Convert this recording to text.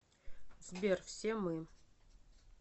сбер все мы